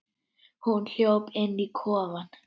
Hún hljóp inn í kofann.